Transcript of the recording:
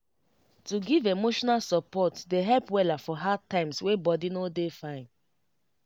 to give emotional support dey help wella for hard times wey body no dey fine